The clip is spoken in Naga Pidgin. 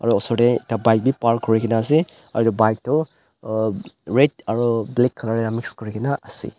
Osor dae ekta bike bhi park kurikena ase aro bike toh uhh red aro black colour mix kurekena ase.